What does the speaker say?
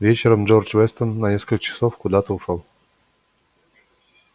вечером джордж вестон на несколько часов куда-то ушёл